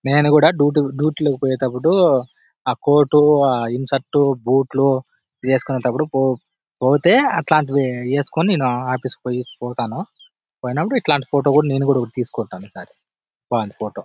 నేను కూడా duty- duty లోకి పోయేటప్పుడు ఆ కోటు ఆ ఇన్సర్ట్ బూట్లు ఏసుకునేటప్పుడు పో-పొతే అట్లాంటివి ఏసుకుని నేను ఆఫీస్ కి పోయి-పోతాను. పోయినప్పుడు ఇట్లాంటి ఫోటో కూడా నేను కూడా తీసుకుంటాను. ఈసారి బాగుంది ఫోటో .